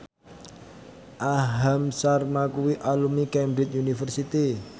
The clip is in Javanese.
Aham Sharma kuwi alumni Cambridge University